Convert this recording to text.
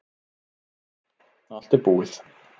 Allt er búið